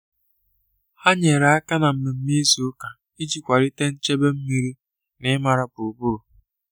Ha nyere aka na mmemme izu ụka iji kwalite nchebe mmiri na ịmara gburugburu.